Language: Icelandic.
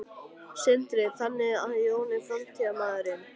Sindri: Þannig að Jón er framtíðarmaðurinn?